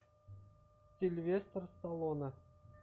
сильвестр сталлоне